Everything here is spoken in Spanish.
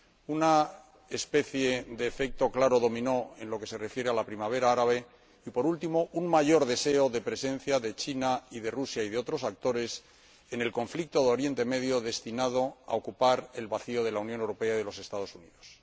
una especie de claro efecto dominó en lo que se refiere a la primavera árabe y, por último, un mayor deseo de presencia de China y de Rusia y de otros actores en el conflicto de Oriente Medio para ocupar el vacío que dejan la Unión Europea y los Estados Unidos.